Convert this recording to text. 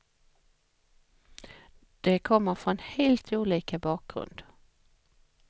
De kommer från helt olika bakgrund.